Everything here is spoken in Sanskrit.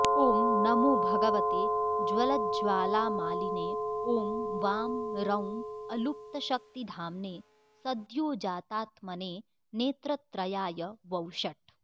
ॐ नमो भगवते ज्वलज्ज्वालामालिने ॐ वां रौं अलुप्तशक्तिधाम्ने सद्योजातात्मने नेत्रत्रयाय वौषट्